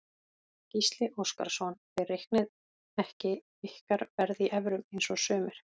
Gísli Óskarsson: Þið reiknið ekki ykkar verð í evrum eins og sumir?